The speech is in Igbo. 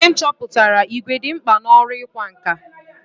Ihe nchọpụta ìgwè dị mkpa n'ọrụ ịkwa nkà.